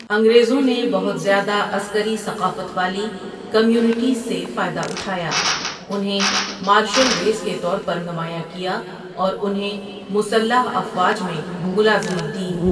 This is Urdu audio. انگریزوں نے بہت زیادہ عسکری ثقافت والی کمیونٹیز سے فائدہ اٹھایا، انہیں 'مارشل ریس' کے طور پر نمایاں کیا اور انہیں مسلح افواج میں ملازمت دی۔